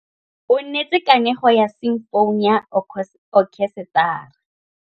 O neetse kanegô ya simfone ya okhesetara.